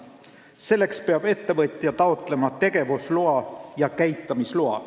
Selleks peab ettevõtja taotlema tegevusloa ja käitamisloa.